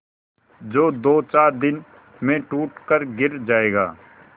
जो दोचार दिन में टूट कर गिर जाएगा